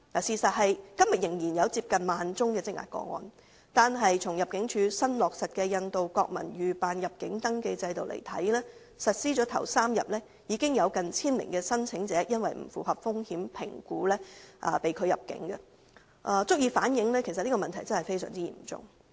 事實是今天仍有近1萬宗的積壓個案，而僅在入境處新落實的印度國民預辦入境登記制度實施的首3天，已有近千名申請者因不符合風險評估而被拒入境，足以反映這問題真的非常嚴重。